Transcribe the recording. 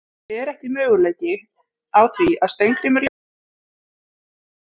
Er ekki möguleiki á því að Steingrímur Jóhannesson spili með ykkur í sumar?